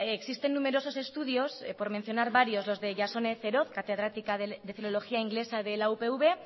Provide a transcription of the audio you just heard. existen numerosos estudios por mencionar varios los de jasone ceroz catedrática de filología inglesa de la upv